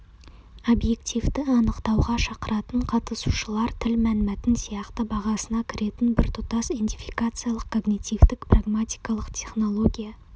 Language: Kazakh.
объективті анықтауға шақыратын қатысушылар тіл мәнмәтін сияқты бағасына кіретін біртұтас индификациялық когнитивтік-прагматикалық технология